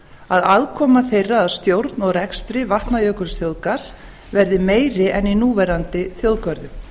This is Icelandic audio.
að aðkoma þeirra að stjórn og rekstri vatnajökulsþjóðgarðs verði meiri en í núverandi þjóðgörðum